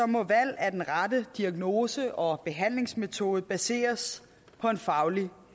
må valg af den rette diagnose og behandlingsmetode baseres på en faglig